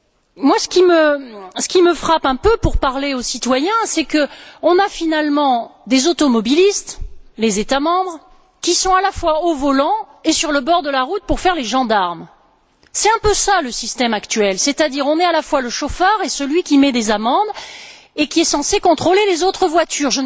Pour ma part, ce qui me frappe un peu, lorsqu'on s'adresse aux citoyens, c'est qu'on a finalement des automobilistes les États membres qui sont à la fois au volant et sur le bord de la route pour faire les gendarmes. C'est un peu cela le système actuel, c'est à dire qu'on est à la fois le chauffeur, celui qui met des amendes et celui qui est censé contrôler les autres voitures.